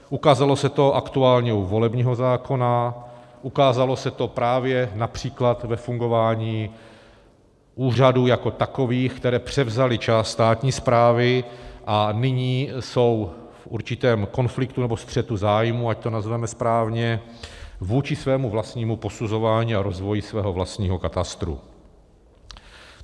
Ukázalo se to aktuálně u volebního zákona, ukázalo se to právě například ve fungování úřadů jako takových, které převzaly část státní správy a nyní jsou v určitém konfliktu nebo střetu zájmů, ať to nazveme správně, vůči svému vlastnímu posuzování a rozvoji svého vlastního katastru.